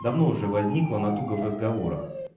давно уже возникла натуга в разговорах